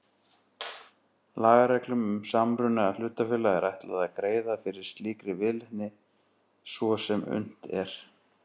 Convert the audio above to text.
Lagareglum um samruna hlutafélaga er ætlað að greiða fyrir slíkri viðleitni svo sem unnt er.